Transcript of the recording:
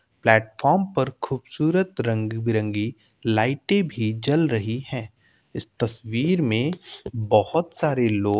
Platform पर खूबसूरत रंग बिरंगी लाइटे भी जल रही हैं। इस तस्वीर में बोहत सारे लोग --